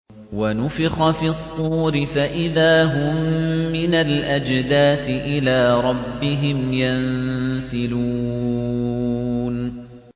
وَنُفِخَ فِي الصُّورِ فَإِذَا هُم مِّنَ الْأَجْدَاثِ إِلَىٰ رَبِّهِمْ يَنسِلُونَ